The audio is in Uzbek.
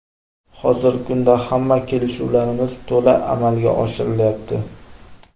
Hozirgi kunda hamma kelishuvlarimiz to‘la amalga oshirilyapti.